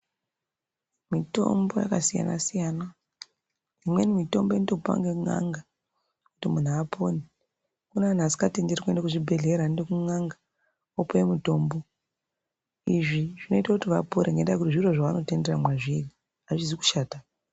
Mitombo yakasiyana siyana imweni mitombo inotopiwa ne n'anga kuti muntu apone kune vantu vasi ngatenterwi kuenda kuzvibhedhlera anoenda kun'anga opiwe mutombo izvi zvinoita kuti vapore ngenda yekuti zviro zvava notendera mazviri hazvisi kushata.